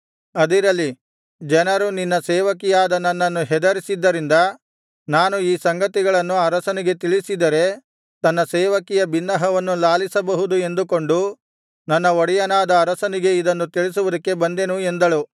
ಅದಿರಲಿ ಜನರು ನಿನ್ನ ಸೇವಕಿಯಾದ ನನ್ನನ್ನು ಹೆದರಿಸಿದ್ದರಿಂದ ನಾನು ಈ ಸಂಗತಿಯನ್ನು ಅರಸನಿಗೆ ತಿಳಿಸಿದರೆ ತನ್ನ ಸೇವಕಿಯ ಬಿನ್ನಹವನ್ನು ಲಾಲಿಸಬಹುದು ಎಂದುಕೊಂಡು ನನ್ನ ಒಡೆಯನಾದ ಅರಸನಿಗೆ ಇದನ್ನು ತಿಳಿಸುವುದಕ್ಕೆ ಬಂದೆನು ಎಂದಳು